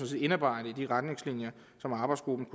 set indarbejde i de retningslinjer som arbejdsgruppen